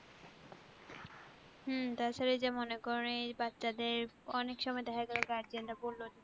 হুম তাছাড়া এই মনে করো বাচ্চাদের অনেকে সময় দেখা গেলো guardian রা বললো